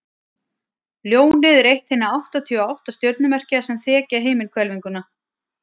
ljónið er eitt hinna áttatíu og átta stjörnumerkja sem þekja himinhvelfinguna